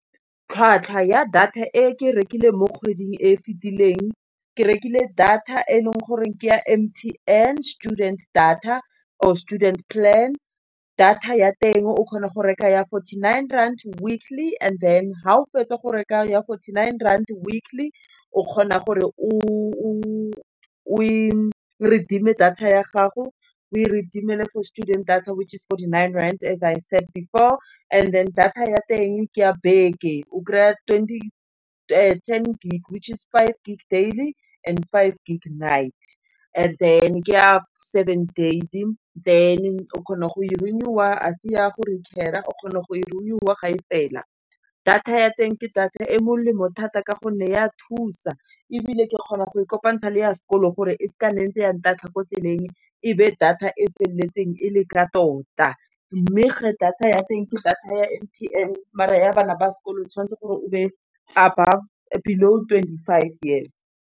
Tlhwatlhwa ya data e ke rekile mo kgweding e fitileng, ke rekile data e leng goreng ke ya M_T_N student data, or student plan. Data ya teng o kgona go reka ya fourty-nine rand weakly, and then ha o fetsa go reka ya fourty-nine rand weakly, o kgona gore o e redeem-e data ya gago, o e reedemele for students data which is fourty-nine rand as I said before, and then data ya teng ke a beke, o kry-a ten gig recharge five gig daily, and five gig night, and then ke ya seven days, than o kgona go e renew-a, ga se ya go recare-a, o kgona go e renew-a ga e fela. Data ya teng ke data e molemo thata ka gonne ya thusa, ebile ke kgona go kopantsha le ya sekolo gore e sa nke ya ntatlha ko tseleng ebe data e feleletseng e le ka tota. Mme geng data ya teng, ke data ya M_T_N mare ya bana ba sekolo o tshwanetse gore o be below twenty-five years.